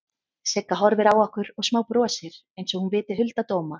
Sigga horfir á okkur og smábrosir einsog hún viti hulda dóma.